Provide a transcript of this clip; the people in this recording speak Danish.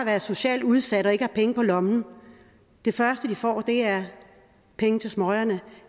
være socialt udsat og ikke penge på lommen det første de får er penge til smøgerne